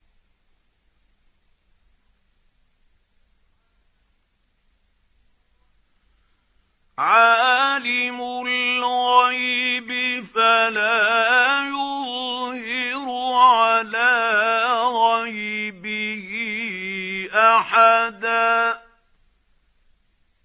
عَالِمُ الْغَيْبِ فَلَا يُظْهِرُ عَلَىٰ غَيْبِهِ أَحَدًا